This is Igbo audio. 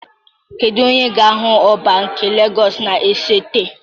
Kedu onye ga-ahụ Ọba nke Legọs na-esote?